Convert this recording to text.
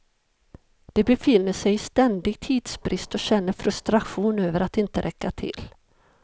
De befinner sig i ständig tidsbrist och känner frustration över att inte räcka till.